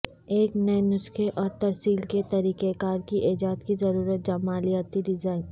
ایک نئے نسخے اور ترسیل کے طریقہ کار کی ایجاد کی ضرورت جمالیاتی ڈیزائن